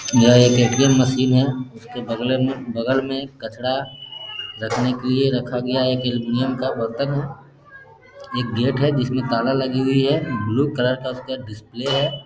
यह एक ATM. Machine है। उसके बगले में बगल में कचड़ा रखने के लिए रखा गया है। एल्युमीनियम का बर्तन है। एक गेट है। जिसमें ताला लगी हुई है। ब्लू कलर का उसका डिस्प्ले है।